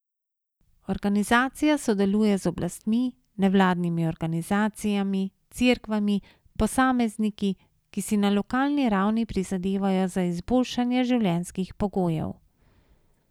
Organizacija sodeluje z oblastmi, nevladnimi organizacijami, cerkvami, posamezniki, ki si na lokalni ravni prizadevajo za izboljšanje življenjskih pogojev.